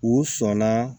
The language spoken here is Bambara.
U sɔnna